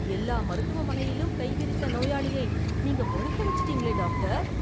எல்லா மருத்துவமனையிலும் கை விரித்த நோயாளியை நீங்க பொழைக்க வச்சிட்டீங்களே டாக்டர்